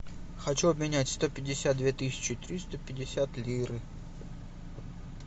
хочу обменять сто пятьдесят две тысячи триста пятьдесят лиры